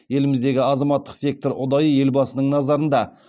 еліміздегі азаматтық сектор ұдайы елбасының назарында